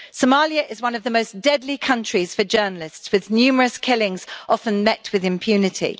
Somalia is one of the most deadly countries for journalists, with numerous killings often met with impunity.